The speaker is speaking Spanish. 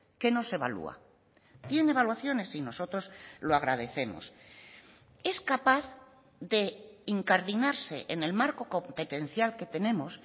que no se evalúa tiene evaluaciones y nosotros lo agradecemos es capaz de incardinarse en el marco competencial que tenemos